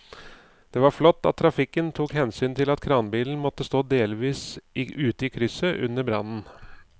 Det var flott at trafikken tok hensyn til at kranbilen måtte stå delvis ute i krysset under brannen.